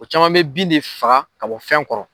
O caman bɛ bin de faga ka bɔ fɛn kɔrɔ.